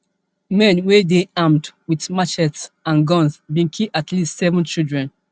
men wey dey armed wit machetes and guns bin kill at least seven children